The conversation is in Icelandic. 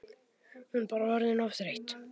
Hún bara orðin of þreytt.